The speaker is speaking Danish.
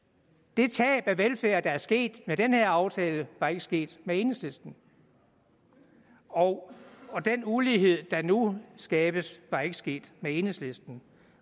det tab af velfærd der er sket med den her aftale var ikke sket med enhedslisten og den ulighed der nu skabes var ikke sket med enhedslisten